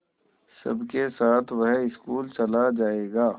सबके साथ वह स्कूल चला जायेगा